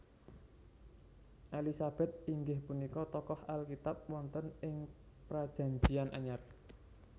Elisabèt inggih punika tokoh Alkitab wonten ing Prajanjian Anyar